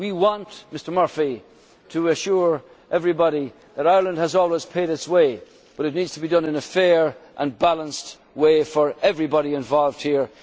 valid. We want Mr Murphy to assure everybody that Ireland has always paid its way, but it needs to be done in a fair and balanced way for everybody involved